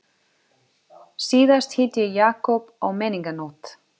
Síðast hitti ég Jakob á menningarnótt.